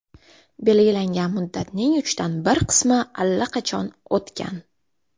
Belgilangan muddatning uchdan bir qismi allaqachon o‘tgan.